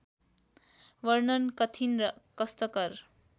वर्णन कठिन र कष्टकर